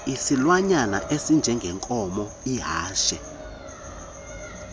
isilwanyana esinjengenkomo ihashe